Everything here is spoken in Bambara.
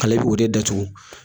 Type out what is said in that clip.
A le b'o de datugu